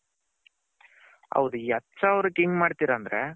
ಹೌದು ಈ ಹತ್ತು ಸವಿರಕೆ ಹೆಂಗೆ ಮಾಡ್ತಿರ ಅಂದ್ರೆ.